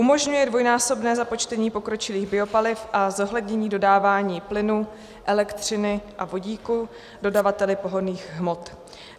Umožňuje dvojnásobné započtení pokročilých biopaliv a zohlednění dodávání plynu, elektřiny a vodíku dodavateli pohonných hmot.